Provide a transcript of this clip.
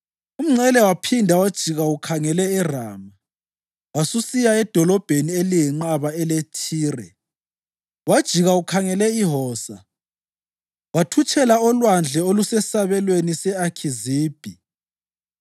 Umngcele waphinda wajika ukhangele eRama wasusiya edolobheni eliyinqaba eleThire, wajika ukhangele iHosa wathutshela olwandle olusesabelweni se-Akhizibhi,